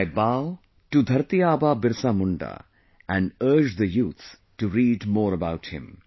I bow to 'Dharti Aaba' Birsa Munda and urge the youth to read more about him